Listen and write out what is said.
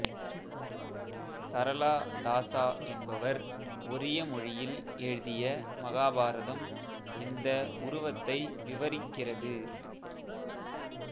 சரளா தாசா என்பவர் ஒரிய மொழியில் எழுதிய மகாபாரதம் இந்த உருவத்தை விவரிக்கிகிறது